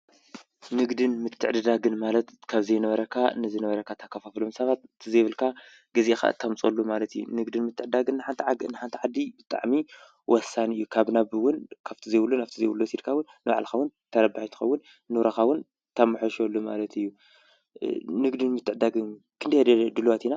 ንግድን ምትዕድዳግን ማለት ካብ ዘይነበረካ ንዝነበረካ ተካፋፍሎም ሰባት ዘይብልካ ገዚእኻ ተምፅአሉ ማለት እዩ፡፡ ንግድን ምትዕድዳግን ንሓንቲ ዓዲ ብጣዕሚ ወሳኒ እዩ፡፡ ካብ ናብ እውን ካብቲ ዘይብሉ ናብቲ ዘይብሉ ወሲድካ እውን ንባዕልኻ እውን ተረባሒ ትኸውን፡፡ ንሮካውን ተመሓይሸሉ ማለት እዩ፡፡ ንግድን ምትዕድዳግን ክንደየናይ ድልዋት ኢና?